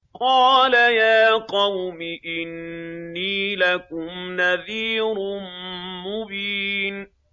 قَالَ يَا قَوْمِ إِنِّي لَكُمْ نَذِيرٌ مُّبِينٌ